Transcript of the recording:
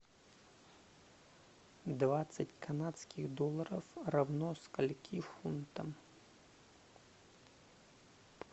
двадцать канадских долларов равно скольки фунтам